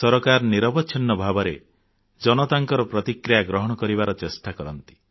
ସରକାର ନିରବଚ୍ଛିନ୍ନ ଭାବେ ଜନତାଙ୍କ ପ୍ରତିକ୍ରିୟା ଗ୍ରହଣ କରିବାର ଚେଷ୍ଟା କରନ୍ତି